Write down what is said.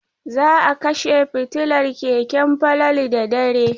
Za a kashe fitilar keken Falalu da dare.